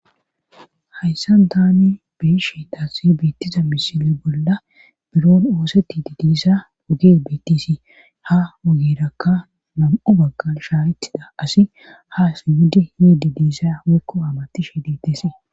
hayssan taani beishe taasi beettiza misile bolla biron oosetti didiisa woge beettisi ha wogerakka nam7u bagga shaayetida asi ha sinhudi yidi diisa wekko aamatishe diitesei